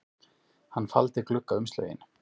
Hann faldi gluggaumslögin